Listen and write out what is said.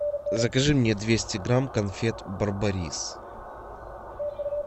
закажи мне двести грамм конфет барбарис